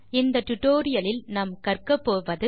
இந்த டுடோரியலின் முடிவில் செய்ய முடிவது